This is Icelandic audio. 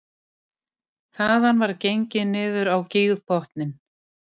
Þaðan var gengið niður á gígbotninn